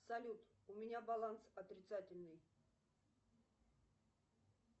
салют у меня баланс отрицательный